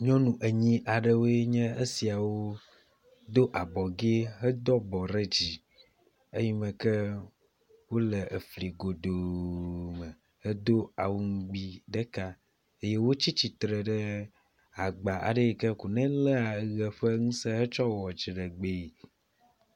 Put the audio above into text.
nyɔnu enyi aɖewoe nye esiawo dó abɔgɛ hedo abɔ ɖe dzi eyimeke wóle efli godoo me hedo awu ŋgbi ɖeka eye wótsitsitsre ɖe agba yike ko nelea ɣe ƒe ŋuse tsɔ wɔa dziɖegbeɛ